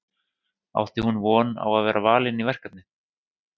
Átti hún von á að vera valin í verkefnið?